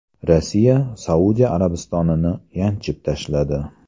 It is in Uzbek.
Rossiya Saudiya Arabistonini yanchib tashladi.